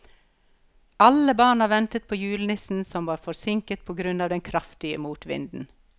Alle barna ventet på julenissen, som var forsinket på grunn av den kraftige motvinden.